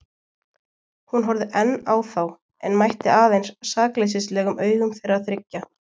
Hún horfði enn á þá en mætti aðeins sakleysislegum augum þeirra þriggja.